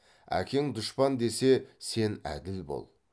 әкең дұшпан десе сен әділ бол